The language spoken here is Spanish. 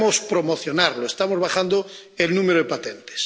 debemos promocionarlos, estamos bajando el número de patentes.